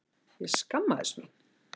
Ég skammaðist mín.